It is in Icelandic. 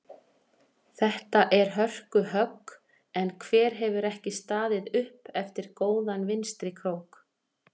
Þetta er hörku högg en hver hefur ekki staðið upp eftir góðan vinstri krók?